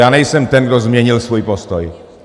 Já nejsem ten, kdo změnil svůj postoj.